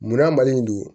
Munna mali in don